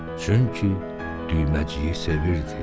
Çünki düyməciyi sevirdi.